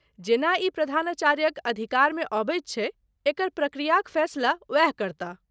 जेना ई प्रधानाचार्यक अधिकारमे अबैत छै, एकर प्रक्रियाक फैसला ओएह करताह।